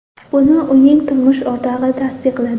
Buni uning turmush o‘rtog‘i tasdiqladi .